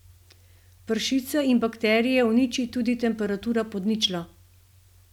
Pršice in bakterije uniči tudi temperatura pod ničlo.